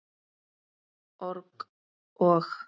org- og.